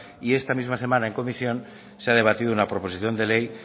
y esta misma semana en comisión se ha debatido una proposición